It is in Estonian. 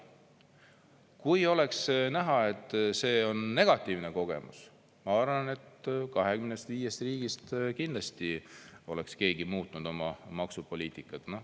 Kui oleks näha, et see on negatiivne kogemus, ma arvan, et 25 riigist kindlasti oleks keegi muutnud oma maksupoliitikat.